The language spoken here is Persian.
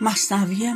کودکی